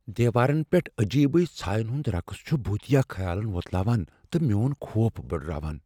دیوارن پیٹھ اجیبٕیہ ژھاین ہُند رقس چھُ بھُوتیا خیالن ووتلاوان ،تہٕ میون خوف بٕڈراوان ۔